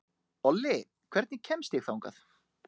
Olli, hvernig kemst ég þangað?